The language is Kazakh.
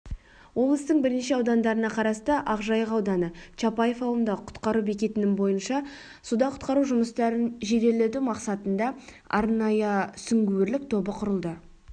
облыстың бірнеше аудандарына қарасты ақжайық ауданы чапаев ауылындағы құтқару бекетінің бойынша суда құтқару жұмыстарын жеделдету мақсатында арнайы сүңгуірлік тобы құрылды